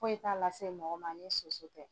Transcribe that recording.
foyi t'a lase mɔgɔ ma ni soso tɛ.